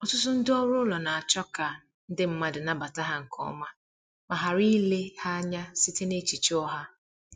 Ọtụtụ ndị ọrụ ụlọ na-achọ ka ndi mmadụ nabata ha nke ọma ma ghara ile ha anya site n’echiche ụgha.